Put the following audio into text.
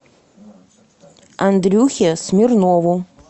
андрюхе смирнову